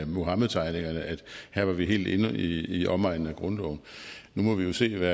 muhammedtegningerne at her var vi helt inde i omegnen af grundloven nu må vi jo se hvad